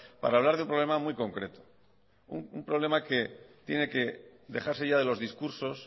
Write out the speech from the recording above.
para hablar de un problema muy concreto un problema que tiene que dejarse ya de los discursos